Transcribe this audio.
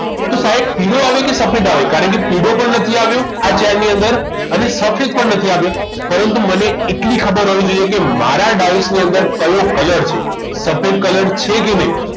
તો સાહેબ પીળો આવે કે સફેદ આવે કારણ કે પીળો પણ નથી આવ્યો આ છે એની અંદર અને સફેદ પણ નથી આવ્યો પરંતુ મને એટલી ખબર હોવી જોઈએ કે મારા ડાઈન ની અંદર કયો colour છે સફેદ colour છે કે નહીં